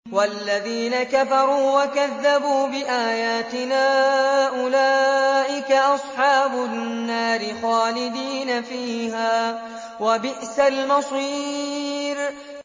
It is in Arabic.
وَالَّذِينَ كَفَرُوا وَكَذَّبُوا بِآيَاتِنَا أُولَٰئِكَ أَصْحَابُ النَّارِ خَالِدِينَ فِيهَا ۖ وَبِئْسَ الْمَصِيرُ